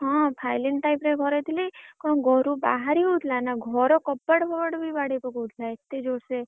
ହଁ Phailin time ରେ ଘରେ ଥିଲି। କଣ ଘରୁ ବାହାରି ହଉଥିଲା ନା ଘର କବାଟ ଫବାଟ ବି ବାଡ଼େଇପକଉଥିଲା ଏତେ ଜୋରସେ,